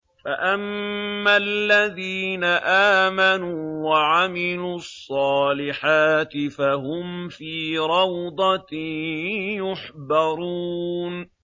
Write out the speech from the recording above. فَأَمَّا الَّذِينَ آمَنُوا وَعَمِلُوا الصَّالِحَاتِ فَهُمْ فِي رَوْضَةٍ يُحْبَرُونَ